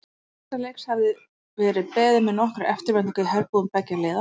Þessa leiks hafði verið beðið með nokkurri eftirvæntingu í herbúðum beggja liða.